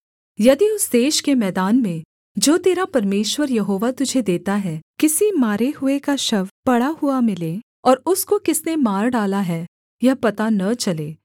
यदि उस देश के मैदान में जो तेरा परमेश्वर यहोवा तुझे देता है किसी मारे हुए का शव पड़ा हुआ मिले और उसको किसने मार डाला है यह पता न चले